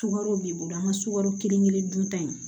Sukaro b'i bolo an ka sukaro kelen kelen dun ta in